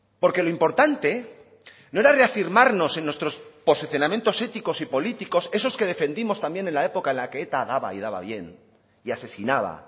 porque lo importante no era reafirmarnos en nuestros posicionamientos éticos y políticos esos que defendimos también en la época en la que eta daba y daba bien y asesinaba